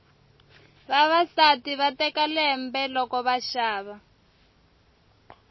vavasati va teka lembe loko va xava